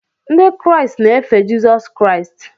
Ndị Kraịst na-efe Jizọs Kraịst